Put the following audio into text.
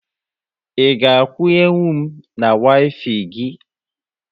Ị ga akwunye nwu m na Waifai gị?